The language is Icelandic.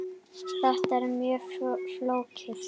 Þetta er mjög flókið.